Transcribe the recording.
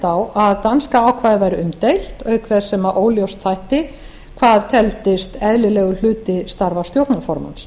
á að danska ákvæðið væri umdeilt auk þess sem óljóst þætti hvað teldist eðlilegur hluti starfa stjórnarformanns